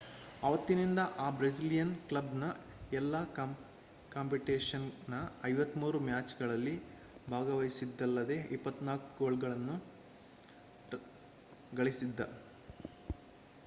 ಆವತ್ತಿನಿಂದ ಆ ಬ್ರೆಸಿಲಿಯನ್ ಕ್ಲಬ್‌ನ ಎಲ್ಲಾ ಕಾಂಪಿಟೇಷನ್‌ನ 53 ಮ್ಯಾಚ್‍‌ಗಳಲ್ಲಿ ಭಾಗವಹಿಸಿದ್ದಲ್ಲದೆ 24 ಗೋಲ್‍ಗಳನ್ನು ಗಳಿಸಿದ್ದ